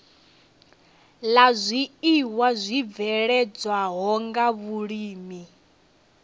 la zwiiwa zwibveledzwaho nga vhulimi